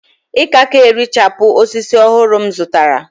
ìkaka erichapụ osisi ọhụrụ m zụtara